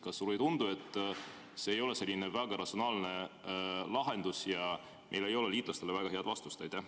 Kas sulle ei tundu, et see ei ole väga ratsionaalne lahendus ja meil ei ole liitlastele väga head vastust?